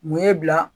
Mun ye bila